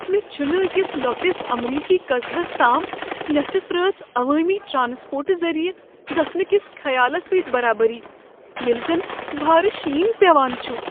مےٚ چھنہٕ أکس لۄکٹس امریکی قصبس تام نیصف رٲژ عوٲمی ٹرٛانسپورٹہٕ ذریعہ گژھنہٕ كِس خیالس سٕتۍ برابری ییلہِ زن بھارٕ شین پیوان چھُ۔